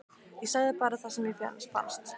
Ég sagði bara það sem mér fannst.